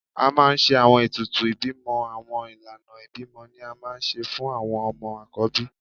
A maa n ṣe awọn etùtù ibimọ Awọn ilana ibimọ ni a maa n ṣe fun awọn ọmọ akọbí.